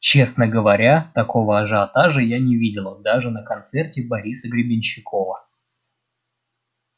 честно говоря такого ажиотажа я не видела даже на концерте бориса гребенщикова